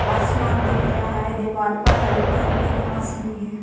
आसमान दिख रहा है दीवाल पर हल्की-हल्की घास भी है।